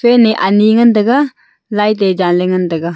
fan ne ani ngan tega light te ja la ngan tega.